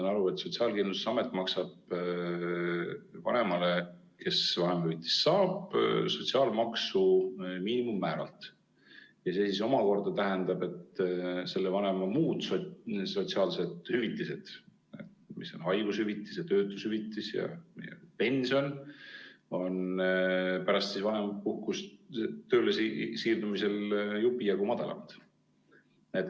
Ma saan aru, et Sotsiaalkindlustusamet maksab vanemale, kes vanemahüvitist saab, sotsiaalmaksu miinimummääralt ja see siis omakorda tähendab, et selle vanema muud sotsiaalsed hüvitised, mis on haigushüvitis ja töötushüvitis ja tulevane pension, on pärast vanemapuhkust tööle siirdumisel jupi jagu madalamad.